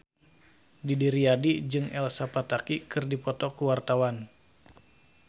Didi Riyadi jeung Elsa Pataky keur dipoto ku wartawan